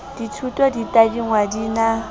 dithuto di tadingwa di na